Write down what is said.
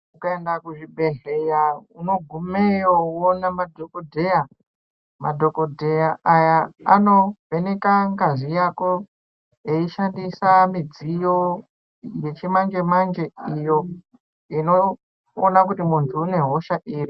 Ukaenda kuzvibhedhleya unogumeyo voonana madhogodheya. Madhogodheya aya anovheneka ngazi yako eishandisa midziyo yechimanje-manje, iyo inoona kuti muntu une hosha iri.